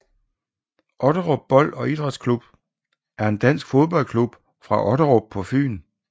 Otterup Bold og Idrætsklub er en dansk fodboldklub fra Otterup på Nordfyn